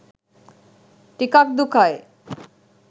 ටිකක් දුකයි.